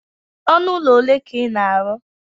ọnụ ụlọ ole ka ị na-arụ?